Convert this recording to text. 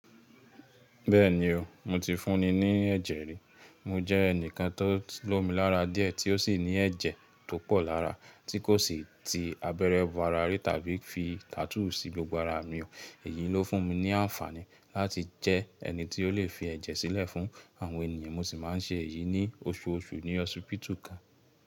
Bẹ́ẹ̀ni o, mo ti fúnni ní ẹ̀jẹ̀ rí. Mo jẹ́ ẹnìkan tó lomi lára díẹ̀ tí ó sì ní ẹ̀jẹ̀ tó pọ̀ lára, tí kò sì ti abẹ́rẹ́ bo ara ri tàbí fi tattoo sí gbogbo ara mi o. Èyí ló fún mi ní àǹfààní láti jẹ́ ẹni tí ó lè fi ẹ̀jẹ̀ sílẹ̀ fún àwọn ènìyàn. Mo sì máa ń ṣe èyí ní oṣù osù ní hósipítù kan.